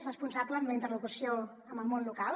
responsable en la interlocució amb el món local